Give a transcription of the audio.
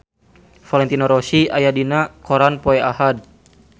Valentino Rossi aya dina koran poe Ahad